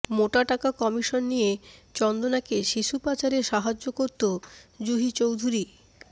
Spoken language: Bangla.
মোটা টাকা কমিশন নিয়ে চন্দনাকে শিশু পাচারে সাহায্য করত জুহি চৌধুরী